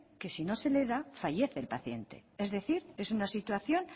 que si no se le da fallece el paciente es decir es una situación